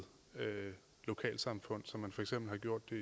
lokalsamfund som for eksempel